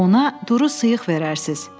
Ona duru sıyıq verərsiniz.